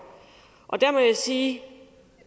og der må jeg sige